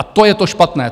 A to je to špatné.